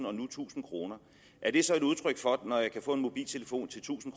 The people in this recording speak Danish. og nu tusind kroner er det så et udtryk for når jeg nu kan få en mobiltelefon til tusind